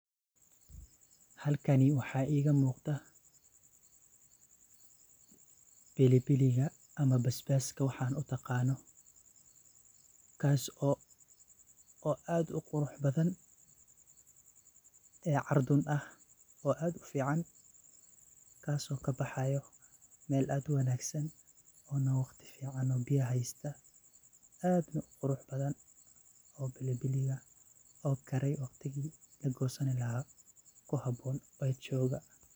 Halkani waxa iga muqdah, pilipili ka amah paspaska waxan u qaanoh kaso oo aad u quruxbathan ee cardun aah oo aad u fican kaso kabaxayoo meel aad u wanagsan oo waqdi fican oo beeya haystah aadna u quuruxabtahn oo pilipili aah oo Karaya waqdika lagosani lahay kihaboon oo jokah.